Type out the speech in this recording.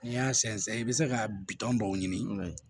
N'i y'a sɛnsɛn i bɛ se ka bitɔn dɔw ɲini